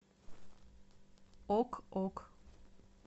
ок ок